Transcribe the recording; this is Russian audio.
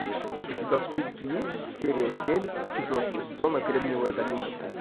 у тебя в списке есть серия семь четвертого сезона кремниевая долина